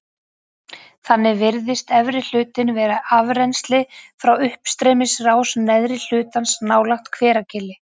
Þannig virðist efri hlutinn vera afrennsli frá uppstreymisrás neðri hlutans nálægt Hveragili.